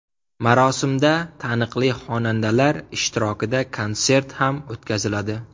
Marosimda taniqli xonandalar ishtirokida konsert ham o‘tkaziladi.